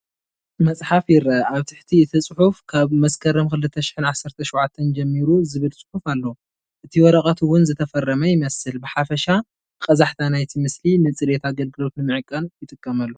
መፅሓፍ ይረአ፣ ኣብ ትሕቲ እቲ ጽሑፍ "ካብ መስከረም 2017 ጀሚሩ" ዝብል ጽሑፍ ኣሎ። እቲ ወረቐት እውን ዝተፈረመ ይመስል። ብሓፈሻ ቀዛሕታ ናይቲ ምስሊ ንጽሬት ኣገልግሎት ንምዕቃን ይጥቀመሉ።